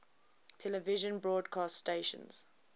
television broadcast stations